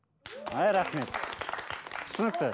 ай рахмет түсінікті